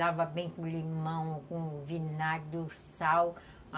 Lava bem com limão, com vinagre, o sal.